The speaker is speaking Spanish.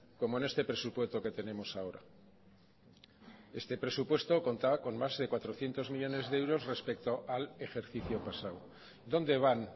como en este presupuesto que tenemos ahora este presupuesto contaba con más de cuatrocientos millónes de euros respecto al ejercicio pasado dónde van